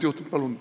Palun lisaaega!